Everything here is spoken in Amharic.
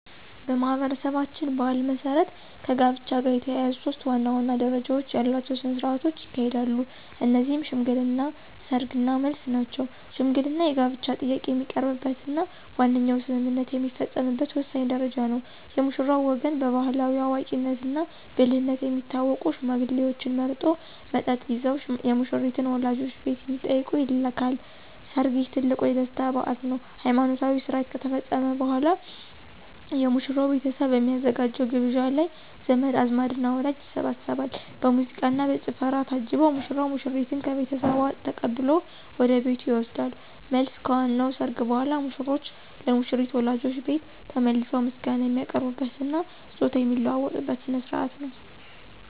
በማኅበረሰባችን ባሕል መሠረት ከጋብቻ ጋር የተያያዙ ሦስት ዋና ዋና ደረጃዎች ያሏቸው ሥነ ሥርዓቶች ይካሄዳሉ። እነዚህም ሽምግልና፣ ሰርግ እና መልስ ናቸው። ሽምግልና የጋብቻ ጥያቄ የሚቀርብበትና ዋነኛው ስምምነት የሚፈጸምበት ወሳኝ ደረጃ ነው። የሙሽራው ወገን በባሕላዊ አዋቂነትና ብልህነት የሚታወቁ ሽማግሌዎችን መርጦ፣ መጠጥ ይዘው የሙሽሪትን ወላጆች ቤት እንዲጠይቁ ይልካል። ሰርግ: ይህ ትልቁ የደስታ በዓል ነው። ሃይማኖታዊ ሥርዓት ከተፈጸመ በኋላ፣ የሙሽራው ቤተሰብ በሚያዘጋጀው ግብዣ ላይ ዘመድ አዝማድና ወዳጅ ይሰባሰባል። በሙዚቃና በጭፈራ ታጅቦ ሙሽራው ሙሽሪትን ከቤተሰቧ ተቀብሎ ወደ ቤቱ ይወስዳል። መልስ: ከዋናው ሰርግ በኋላ፣ ሙሽሮች ለሙሽሪት ወላጆች ቤት ተመልሰው ምስጋና የሚያቀርቡበትና ስጦታ የሚለዋወጡበት ሥነ ሥርዓት ነው።